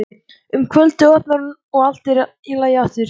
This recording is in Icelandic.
Um kvöldið opnar hún og allt er í lagi aftur.